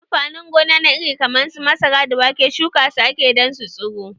Amfanin gona na iri kaman su masara da wake shuka su ake yi dan su tsiro